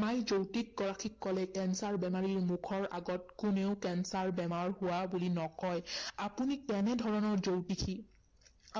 মায়ে জ্য়োতিষগৰাকীক কলে কেঞ্চাৰ বেমাৰীক মুখৰ আগত কোনেও কেঞ্চাৰ বেমাৰ হোৱা বুলি নকয়, আপুনি কেনে ধৰণৰ জ্য়ৌতিষী,